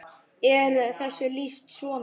er þessu lýst svona